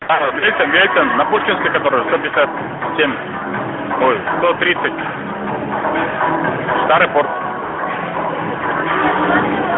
на пушкинской которую